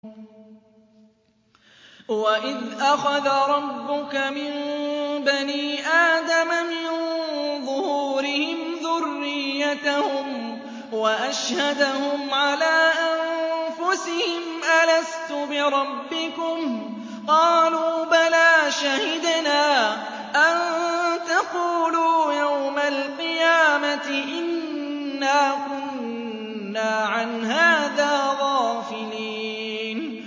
وَإِذْ أَخَذَ رَبُّكَ مِن بَنِي آدَمَ مِن ظُهُورِهِمْ ذُرِّيَّتَهُمْ وَأَشْهَدَهُمْ عَلَىٰ أَنفُسِهِمْ أَلَسْتُ بِرَبِّكُمْ ۖ قَالُوا بَلَىٰ ۛ شَهِدْنَا ۛ أَن تَقُولُوا يَوْمَ الْقِيَامَةِ إِنَّا كُنَّا عَنْ هَٰذَا غَافِلِينَ